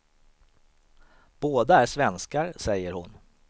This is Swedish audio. Båda är svenskar, säger hon.